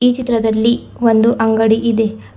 ಈ ಚಿತ್ರದಲ್ಲಿ ಒಂದು ಅಂಗಡಿ ಇದೆ.